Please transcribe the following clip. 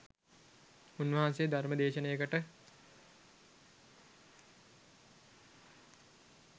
උන්වහන්සේ ධර්ම දේශනයකට